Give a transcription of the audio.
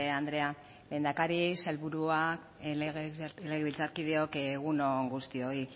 andrea lehendakari sailburua legebiltzarkideok egun on guztioi